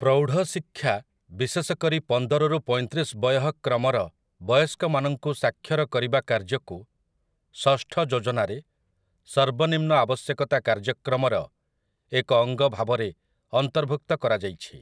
ପ୍ରୌଢ଼ଶିକ୍ଷା ବିଶେଷକରି ପନ୍ଦର ରୁ ପଇଁତିରିଶ ବୟଃ କ୍ରମର ବୟସ୍କ ମାନଙ୍କୁ ସାକ୍ଷର କରିବା କାର୍ଯ୍ୟକୁ ଷଷ୍ଠ ଯୋଜନାରେ ସର୍ବନିମ୍ନ ଆବଶ୍ୟକତା କାର୍ଯ୍ୟକ୍ରମର ଏକ ଅଙ୍ଗ ଭାବରେ ଅନ୍ତର୍ଭୁକ୍ତ କରାଯାଇଛି ।